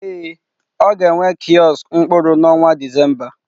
Ee, ọ ga-enwe kiosk mkpụrụ n'ọnwa Disemba.